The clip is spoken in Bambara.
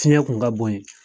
Siɲɛ tun ka bonya